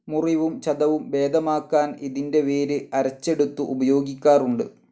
മുറിവും ചതവും ഭേദമാക്കാൻ ഇതിൻ്റെ വേര് അരച്ചെടുത്തു ഉപയോഗിക്കാറുണ്ട്.